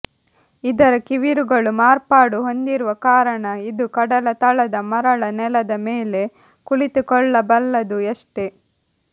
ಇದರ ಕಿವಿರುಗಳು ಮಾರ್ಪಾಡು ಹೊಂದಿರುವ ಕಾರಣ ಇದು ಕಡಲ ತಳದ ಮರಳ ನೆಲದ ಮೇಲೆ ಕುಳಿತುಕೊಳ್ಳಬಲ್ಲದು ಅಷ್ಟೇ